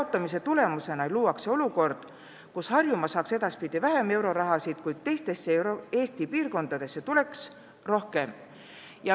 Nii tekiks olukord, kus Harjumaa saaks edaspidi vähem euroraha ja teistesse Eesti piirkondadesse eraldataks rohkem.